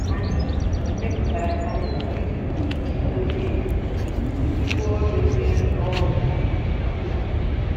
Anyị mepụtara kalenda izu ike iji dozie um ibu ọrụ onye ọ bụla.